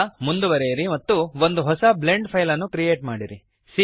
ಈಗ ಮುಂದುವರಿಯಿರಿ ಮತ್ತು ಒಂದು ಹೊಸ ಬ್ಲೆಂಡ್ ಫೈಲ್ ಅನ್ನು ಕ್ರಿಯೇಟ್ ಮಾಡಿರಿ